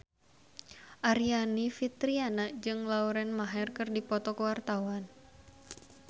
Aryani Fitriana jeung Lauren Maher keur dipoto ku wartawan